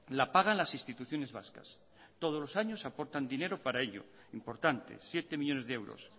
la pagan las instituciones vascas todos los años aportan dinero para ello importantes siete millónes de euros